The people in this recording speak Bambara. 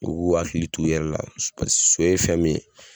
U k'u hakili t'o yɛrɛ la so ye fɛn min ye